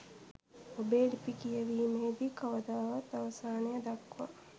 ඔබේ ලිපි කියවීමේදී කවදාවත් අවසානය දක්වා